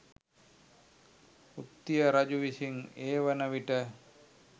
උත්තිය රජු විසින් ඒ වන විට